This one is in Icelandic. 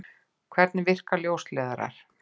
Hvernig virka ljósleiðarar?